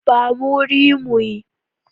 Ba mu wuri mu yi.